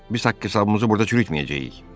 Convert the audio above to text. Biz haqq-hesabımızı burda çürütməyəcəyik.